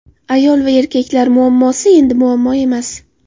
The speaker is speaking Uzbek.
Ayol va erkaklar muammosi endi muammo emas.